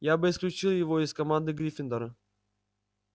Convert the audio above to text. я бы исключил его из команды гриффиндора